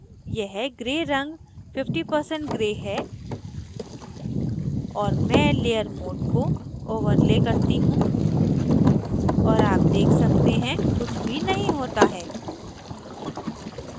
यह gray रंग 50% gray है और मैं layer mode को overlay करती हूँ और आप देख सकते हैं कुछ भी नहीं होता है